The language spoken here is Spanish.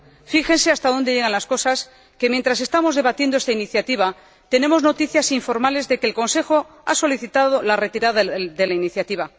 Fíjense hasta dónde llegan las cosas que mientras estamos debatiendo esta iniciativa, tenemos noticias informales de que el Consejo ha solicitado la retirada de la iniciativa.